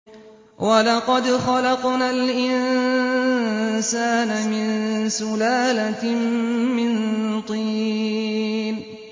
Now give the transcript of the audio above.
وَلَقَدْ خَلَقْنَا الْإِنسَانَ مِن سُلَالَةٍ مِّن طِينٍ